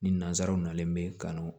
Ni nazaraw nalen be kanu